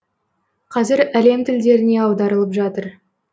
қазір әлем тілдеріне аударылып жатыр